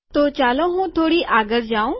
તો ચાલો હું થોડો આગળ જઉં